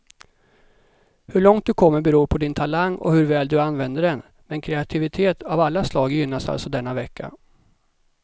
Hur långt du kommer beror på din talang och hur väl du använder den, men kreativitet av alla slag gynnas alltså denna vecka.